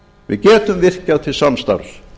við getum virkjað til samstarfs